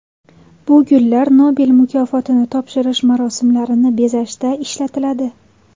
Bu gullar Nobel mukofotini topshirish marosimlarini bezashda ishlatiladi.